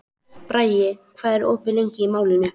Bragi, hvað er opið lengi í Málinu?